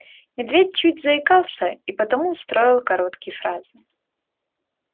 медведь чуть заикался и потому строил короткие фразы